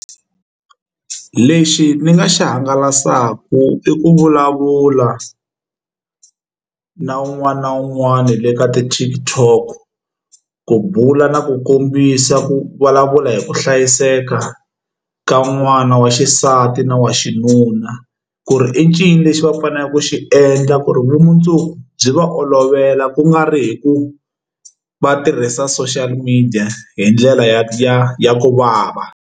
Lexi ni nga xi hangalasaka i ku vulavula na un'wana na un'wana le ka ti TikTok ku bula na ku kombisa ku vulavula hi ku hlayiseka ka n'wana wa xisati na wa xinuna ku ri i ncini lexi va faneleke ku xi endla ku ri vumundzuku byi va olovela ku nga ri hi ku va tirhisa social media hi ndlela ya ya ya ku vava.